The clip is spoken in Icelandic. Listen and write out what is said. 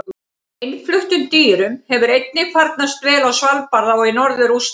Innfluttum dýrum hefur einnig farnast vel á Svalbarða og í norður Rússlandi.